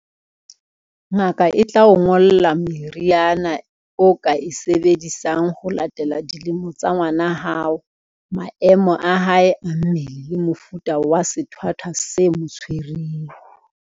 Ngaka e tla o ngolla meriana o ka e sebedisang ho latela dilemo tsa ngwana hao, maemo a hae a mmele le mofuta wa sethwathwa se mo tshwereng.